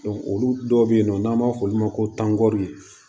olu dɔw bɛ yen nɔ n'an b'a f'olu ma ko tankutɔri